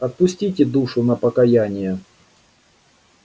отпустите душу на покаяние